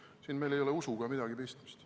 Siin ei ole usuga midagi pistmist.